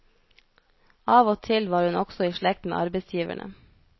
Av og til var hun også i slekt med arbeidsgiverne.